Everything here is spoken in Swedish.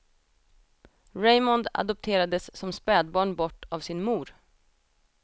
Raymond adopterades som spädbarn bort av sin mor.